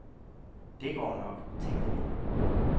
Det går nok, tænkte vi.